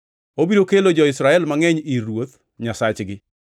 Obiro kelo jo-Israel mangʼeny ir Ruoth Nyasachgi.